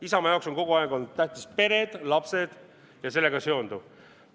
Isamaa jaoks on kogu aeg olnud tähtsad pered, lapsed ja sellega seonduv.